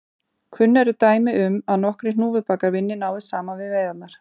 Kunn eru dæmi um að nokkrir hnúfubakar vinni náið saman við veiðarnar.